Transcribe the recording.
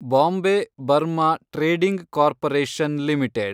Bombay Burma trading corporation limited